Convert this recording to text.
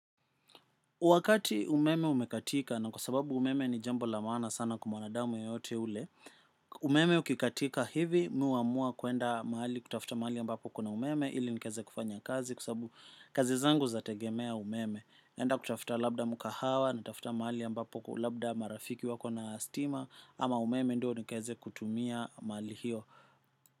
Wakati umeme umekatika na kwa sababu umeme ni jambo la maana sana kwa mwanadamu yeyote ule, umeme ukikatika hivi mi huamua kuenda mahali kutafuta maali ambapo kuna umeme ili nikeze kufanya kazi kwa sabu kazi zangu zategemea umeme. Naenda kutafuta labda mukahawa natafuta mahali ambapo kwa ulabda marafiki wako na stima ama umeme ndio nikeze kutumia mali hiyo.